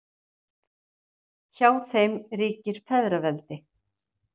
Hjá þeim ríkir feðraveldi.